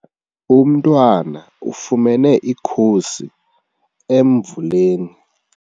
Umntwana ufumene ikhusi emvuleni.